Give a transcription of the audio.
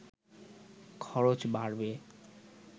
খরচ বাড়বে